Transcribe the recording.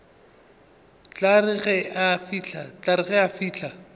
tla re ge a fihla